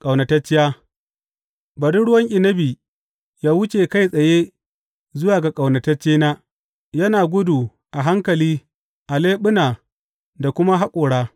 Ƙaunatacciya Bari ruwan inabi yă wuce kai tsaye zuwa ga ƙaunataccena, yana gudu a hankali a leɓuna da kuma haƙora.